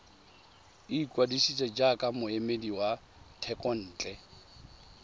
ikwadisa jaaka moemedi wa thekontle